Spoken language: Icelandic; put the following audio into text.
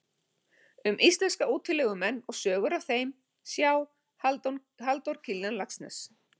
Um íslenska útilegumenn og sögur af þeim, sjá: Halldór Kiljan Laxness.